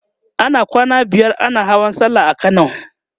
ana kwana biyar ana Hawan sallah a kano